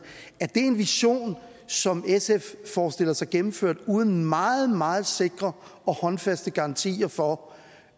er det en vision som sf forestiller sig gennemført uden meget meget sikre og håndfaste garantier for